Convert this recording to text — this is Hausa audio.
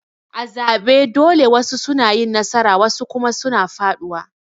A zabe dole wasu na yin nasara wasu kuma suna faduwa.